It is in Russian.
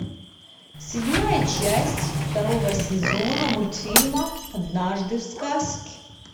седьмая часть второго сезона мультфильма однажды в сказке